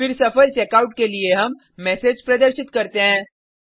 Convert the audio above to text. फिर सफल चेकआउट के लिए हम मैसेज प्रदर्शित करते हैं